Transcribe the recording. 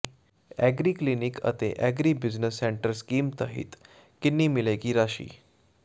agri clinic ਅਤੇ agri business centre scheme ਤਹਿਤ ਕਿੰਨੀ ਮਿਲੇਗੀ ਰਾਸ਼ੀ